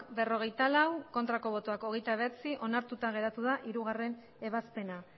berrogeita lau bai hogeita bederatzi ez onartuta geratu da hiruebazpena